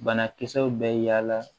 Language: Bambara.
Banakisɛw bɛ yaala